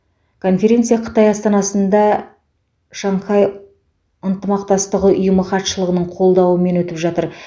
конференция қытай астанасында шанхай ынтымақтастығы ұйымы хатшылығының қолдауымен өтіп жатыр